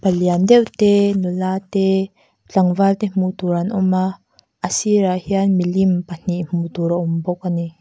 lian deuh te nula te tlangval te hmuh tur an awm a a sîrah hian milim pahnih hmuh tur a awm bawk ani.